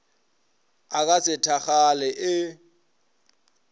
a ka se thakgale ee